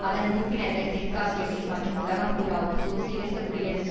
அதன் உறுப்பினர்கள் தெற்காசியாவிலும் மற்றும் உலகம் பூராவும் சோசியலிச குடியரசு